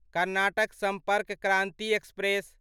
Karnataka Sampark Kranti express